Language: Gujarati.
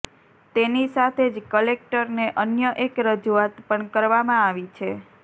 તેની સાથે જ કલેક્ટરને અન્ય એક રજૂઆત પણ કરવામાં આવી છે